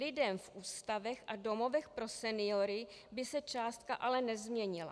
Lidem v ústavech a domovech pro seniory by se částka ale nezměnila.